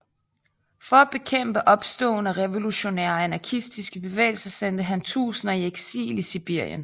For at bekæmpe opståen af revolutionære og anarkistiske bevægelser sendte han tusinder i eksil i Sibirien